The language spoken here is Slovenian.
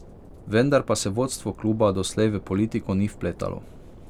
Vendar pa se vodstvo kluba doslej v politiko ni vpletalo.